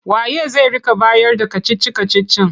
Wa ye zai rika bayarda kacici-kacicin?